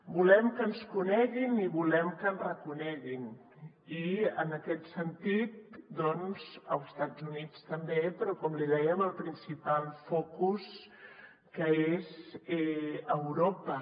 volem que ens coneguin i volem que ens reconeguin i en aquest sentit doncs als estats units també però com li dèiem al principal focus que és europa